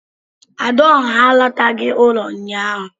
"Adaọhá" àlátaghi ụlọ ụnyaahụ